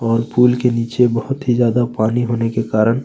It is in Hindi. और पुल के नीचे बहुत ही ज्यादा पानी होने के कारण --